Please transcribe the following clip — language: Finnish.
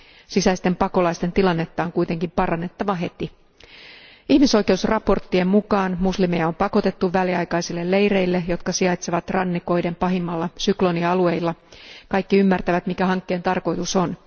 Sisäisten pakolaisten tilannetta on kuitenkin parannettava heti. Ihmisoikeusraporttien mukaan muslimeja on pakotettu väliaikaisille leireille, jotka sijaitsevat rannikoiden pahimmilla syklonialueilla. Kaikki ymmärtävät, mikä hankkeen tarkoitus on.